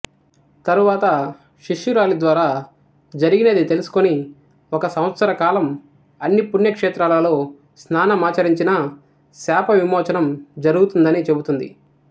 తరువాత శిష్యురాలిద్వారా జరిగినది తెలుసుకొని ఒక సంవత్సర కాలం అన్ని పుణ్యక్షేత్రాలలో స్నానమాచరించిన శాపవిమోచనం జరుగుతుందని చెపుతుంది